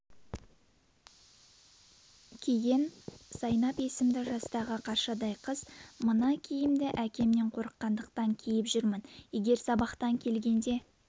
киген зайнап есімді жастағы қаршадай қыз -мына киімді әкемнен қорыққандықтан киіп жүрмін егер сабақтан келгенде